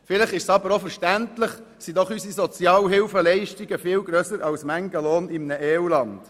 Vielleicht ist es aber auch verständlich, sind doch unsere Sozialhilfeleistungen höher als mancher Lohn in einem EU-Land.